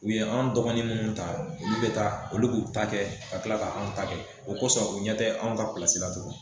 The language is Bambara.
U ye an dɔgɔni munnu ta olu b taa olu b'u ta kɛ ka kila' ka anw ta kɛ o kosɔ u ɲɛ tɛ anw ka pilasi la tugun